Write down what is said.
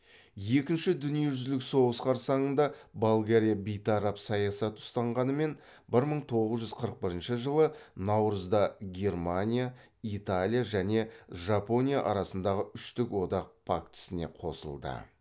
екінші дүниежүзілік соғыс қарсаңында болгариябейтарап саясат ұстанғанымен бір мың тоғыз жүз қырық бірінші наурызда германия италия және жапония арасындағы үштік одақ пактісіне қосылды